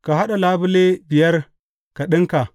Ka haɗa labule biyar ka ɗinka.